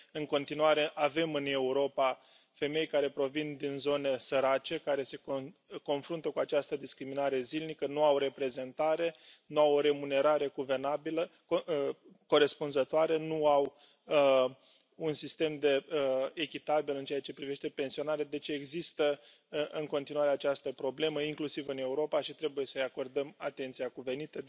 În continuare avem în Europa femei care provin din zone sărace, care se confruntă cu această discriminare zilnică, nu au reprezentare, nu au remunerare corespunzătoare, nu au un sistem echitabil în ceea ce privește pensionarea, deci există în continuare această problemă, inclusiv în Europa și trebuie să i acordăm atenția cuvenită.